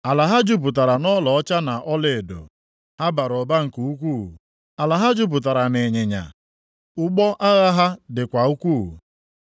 Ala ha jupụtara nʼọlaọcha na ọlaedo, ha bara ụba nke ukwuu. Ala ha jupụtara nʼịnyịnya. Ụgbọ agha ha dịkwa ukwuu.